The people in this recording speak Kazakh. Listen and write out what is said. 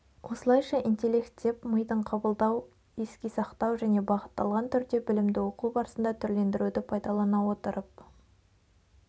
осылайша интеллект деп мидың қабылдау еске сақтау және бағытталған түрде білімді оқу барысында түрлендіруді пайдалана отырып